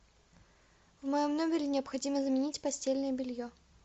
в моем номере необходимо заменить постельное белье